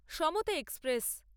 সমতা এক্সপ্রেস